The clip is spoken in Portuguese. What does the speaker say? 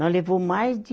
Nós levou mais de